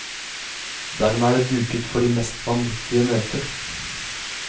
Dermed er det duket for de mest vanvittige møter.